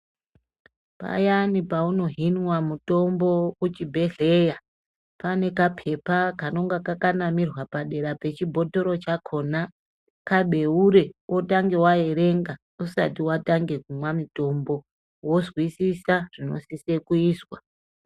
Payani paunohinwa mutombo kuchibhedhlera pane kapepa kanenge kakanamirwa padera pechibhotoro chakona kabeure utange waerenga usati watange kumwa mitombo wozwisisa zvinosisa kuizwa.